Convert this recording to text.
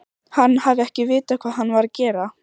Hann hafi ekki vitað hvað hann var að gera.